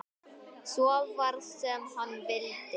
Svo varð sem hann vildi.